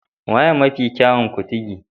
Wanene mafi kyawun Kuntigi?